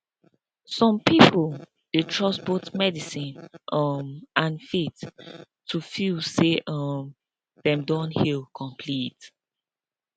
some people dey trust both medicine um and faith to feel say um dem don heal complete